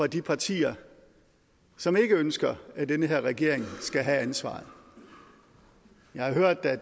de partier som ikke ønsker at den her regering skal have ansvaret jeg har hørt at